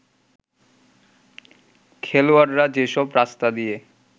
খেলোয়াড়রা যেসব রাস্তা দিয়ে